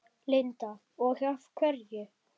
Linda: Og af hverju?